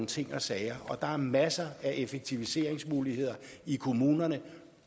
ting og sager og der er masser af effektiviseringsmuligheder i kommunerne